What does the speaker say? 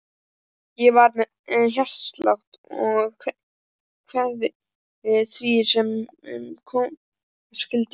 Ég var með hjartslátt og kveið því sem koma skyldi.